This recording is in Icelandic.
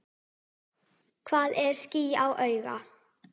Hvað er ský á auga?